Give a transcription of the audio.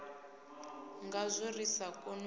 ngazwo ri sa koni u